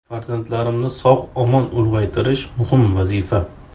Farzandlarimni sog‘-omon ulg‘aytirish muhim vazifa.